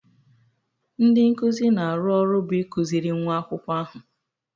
Ndị nkuzi na-arụ ọrụ bụ ịkụziri nwa akwụkwọ ahụ.